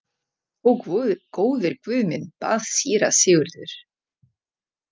Ó góður Guð minn, bað síra Sigurður.